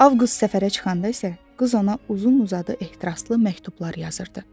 Avqust səfərə çıxanda isə qız ona uzun-uzadı ehtiraslı məktublar yazırdı.